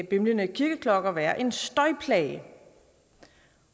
bimlende kirkeklokker være en støjplage